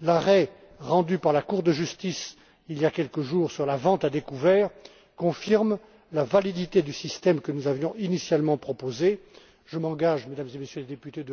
L'arrêt rendu par la Cour de justice, il y a quelques jours, sur la vente à découvert confirme la validité du système que nous avions initialement proposé. Je m'engage personnellement devant vous, Mesdames et Messieurs les députés,